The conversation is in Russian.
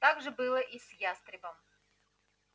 так же было и с ястребом